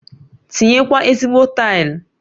Tinye kwa ezigbo taili